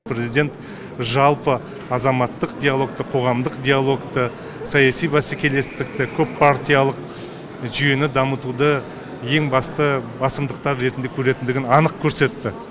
президент жалпы азаматтық диалогты қоғамдық диалогты саяси бәсекелестікті көппартиялық жүйені дамытуды ең басты басымдықтары ретінде көретіндігін анық көрсетті